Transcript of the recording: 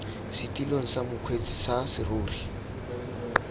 setilong sa mokgweetsi sa serori